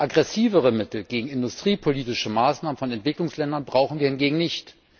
Aggressivere Mittel gegen industriepolitische Maßnahmen von Entwicklungsländern brauchen wir hingegen nicht.